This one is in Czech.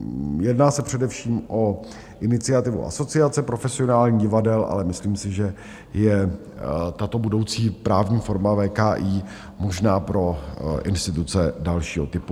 Jedná se především o iniciativu Asociace profesionálních divadel, ale myslím si, že je tato budoucí právní forma VKI možná pro instituce dalšího typu.